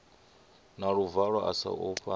na luvalo a sa ofhi